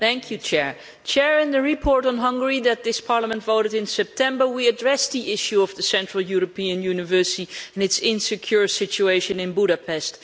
Madam President, in the report on Hungary that this Parliament voted in September, we addressed the issue of the Central European University and its insecure situation in Budapest.